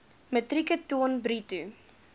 metrieke ton bruto